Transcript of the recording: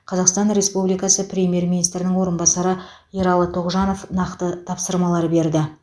қазақстан республикасы премьер министрінің орынбасары ералы тоғжанов нақты тапсырмалар берді